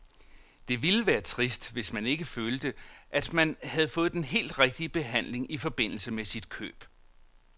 Det ville være trist, hvis man ikke følte, at man havde fået den helt rigtige behandling i forbindelse med sit køb.